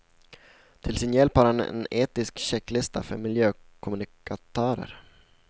Till sin hjälp har han en etisk checklista för miljökommunikatörer.